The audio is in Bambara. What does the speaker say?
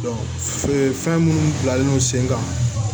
fɛn minnu bilalen no sen kan